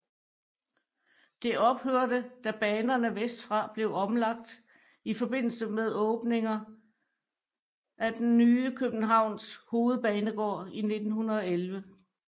Det ophørte da banerne vestfra blev omlagt i forbindelse med åbningen af den nye Københavns Hovedbanegård i 1911